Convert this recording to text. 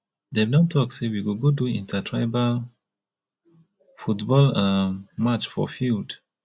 dem don talk sey we go go do intertribal football um match for field